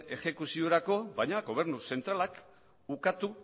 exekuziorako baina gobernu zentralak ukatu